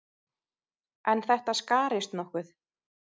En þetta skarist nokkuð.